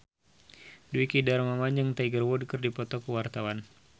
Dwiki Darmawan jeung Tiger Wood keur dipoto ku wartawan